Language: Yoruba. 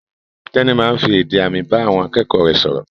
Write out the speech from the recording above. Tẹ́ní máa ń fi èdè àmì bá àwọn akẹ́kọ̀ọ́ rẹ̀ sọ̀rọ̀.